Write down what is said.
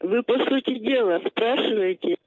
вы по сути дела спрашивайте